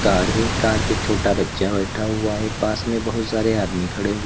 Car है। Car पे छोटा बच्चा बैठा हुआ है पास में बोहुत सारे आदमी खड़े हुए --